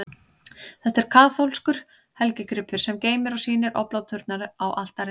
Þetta er kaþólskur helgigripur, sem geymir og sýnir obláturnar á altarinu.